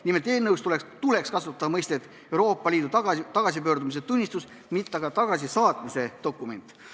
Nimelt, eelnõus tuleks kasutada mõistet "Euroopa Liitu tagasipöördumistunnistus", mitte aga "tagasisaatmise dokument".